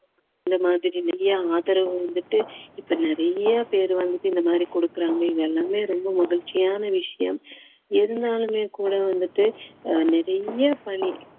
இந்த மாதிரி நிறைய ஆதரவு வந்துட்டு இப்போ நிறைய பேர் வந்துட்டு இந்த மாதிரி கொடுக்குறாங்க இது எல்லாமே ரொம்ப மகிழ்ச்சியான விஷயம் இருந்தாலுமே கூட வந்துட்டு நிறைய பணி